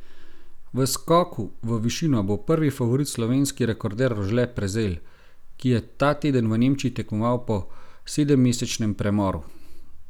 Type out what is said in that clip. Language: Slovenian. V skoku v višino bo prvi favorit slovenski rekorder Rožle Prezelj, ki je ta teden v Nemčiji tekmoval po sedemmesečnem premoru.